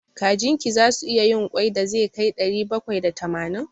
Kajin ki zasu iya yin ƙwai da zai kai ɗari bakwai da tamanin?